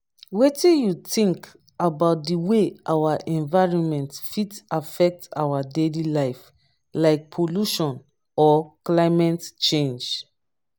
wetin you think about di way our environment fit affect our daily life like pollution or climate change?